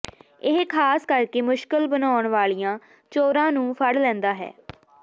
ਇਹ ਖਾਸ ਕਰਕੇ ਮੁਸ਼ਕਲ ਬਣਾਉਣ ਵਾਲੀਆਂ ਚੋਰਾਂ ਨੂੰ ਫੜ ਲੈਂਦਾ ਹੈ